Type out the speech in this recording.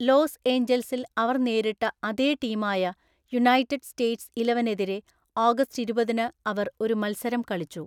Loss ഏഞ്ചൽസിൽ അവർ നേരിട്ട അതേ ടീമായ യുണൈറ്റഡ് സ്റ്റേറ്റ്സ് ഇലവനെതിരെ ഓഗസ്റ്റ് ഇരുപതിന് അവർ ഒരു മത്സരം കളിച്ചു.